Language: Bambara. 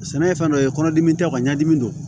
Sɛnɛ ye fɛn dɔ ye kɔnɔdimi tɛ ɲɛdimi don